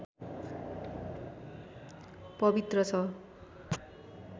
पवित्र छ